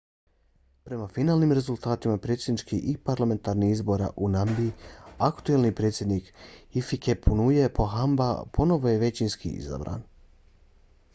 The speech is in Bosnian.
prema finalnim rezultatima predsjedničkih i parlamentarnih izbora u namibiji aktuelni predsjednik hifikepunye pohamba ponovo je većinski izabran